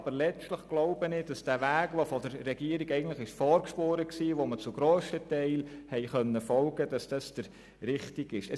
Aber letztlich ist der von der Regierung vorgespurte Weg, dem wir zum grössten Teil folgen konnten, der richtige.